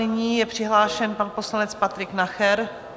Nyní je přihlášen pan poslanec Patrik Nacher.